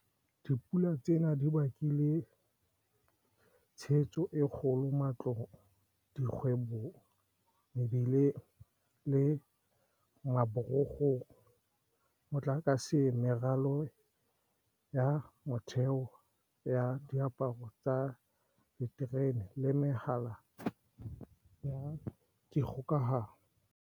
Dipula tsena di bakile tshenyo e kgolo matlong, dikgwebong, mebileng le maborokgong, motlakaseng, meralo ya motheo ya diporo tsa diterene le mehala ya dikgokahanyo.